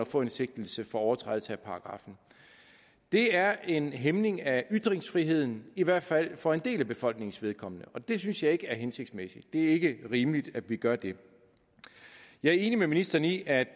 få en sigtelse for overtrædelse af paragraffen det er en hæmning af ytringsfriheden i hvert fald for en del af befolkningens vedkommende og det synes jeg ikke er hensigtsmæssigt det er ikke rimeligt at vi gør det jeg er enig med ministeren i at